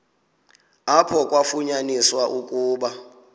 apho kwafunyaniswa ukuba